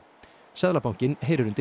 seðlabankinn heyrir undir